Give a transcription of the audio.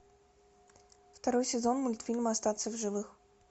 второй сезон мультфильма остаться в живых